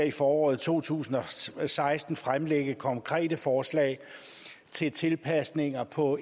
i foråret to tusind og seksten fremlægge konkrete forslag til tilpasninger på